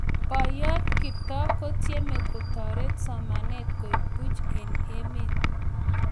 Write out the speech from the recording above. Boiyot kiptoo kotcheme kotaret somanet koek Puch eng emet.